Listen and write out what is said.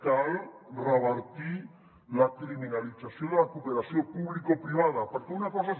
cal revertir la criminalització de la cooperació publicoprivada perquè una cosa és